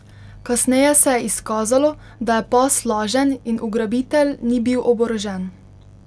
Kasneje se je izkazalo, da je pas lažen in ugrabitelj ni bil oborožen.